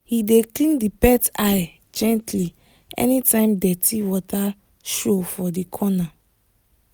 he dey clean the pet eye gently anytime dirty water show for the corner